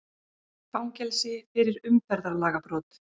Fangelsi fyrir umferðarlagabrot